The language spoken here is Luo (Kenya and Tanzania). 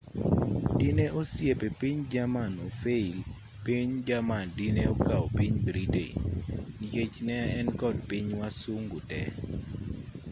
dine osiepe piny jerman ofail piny jerman dine okaw piny britain nikech ne enkod piny wasungu te